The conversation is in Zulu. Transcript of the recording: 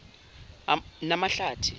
namahlathi